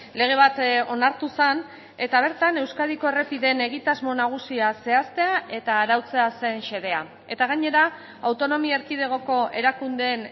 lege bat onartu zen eta bertan euskadiko errepideen egitasmo nagusia zehaztea eta arautzea zen xedea eta gainera autonomia erkidegoko erakundeen